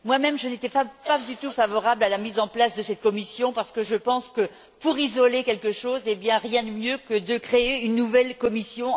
Moi même, je n'étais pas du tout favorable à la mise en place de cette commission parce que je pense que, pour isoler quelque chose, il n'y a rien de tel que de créer une nouvelle commission.